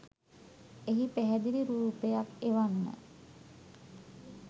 එහි පැහැදිලි රුපයක් එවන්න.